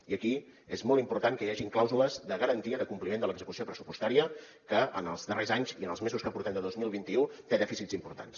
i aquí és molt important que hi hagin clàusules de garantia de compliment de l’execució pressupostària que en els darrers anys i en els mesos que portem de dos mil vint u té dèficits importants